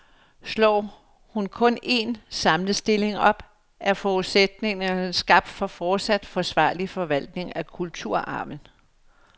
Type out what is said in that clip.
Slår hun kun en, samlet stilling op, er forudsætningen skabt for fortsat forsvarlig forvaltning af kulturarven.